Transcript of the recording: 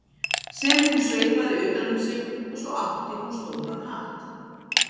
sem hún sveipaði utan um sig og svo átti hún stóran hatt.